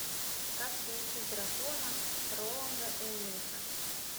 как приручить дракона роланда эммериха